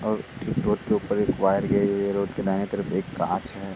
और ठीक रोड के ऊपर एक वायर गई हुई है। रोड़ के दाहिनी तरफ एक कांच है।